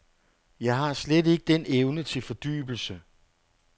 Jeg har slet ikke den evne til fordybelse.